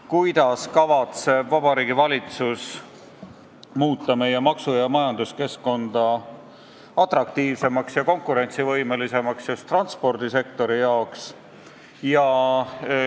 Kuidas kavatseb Vabariigi Valitsus muuta meie maksu- ja majanduskeskkonda atraktiivsemaks ja konkurentsivõimelisemaks just transpordisektorile?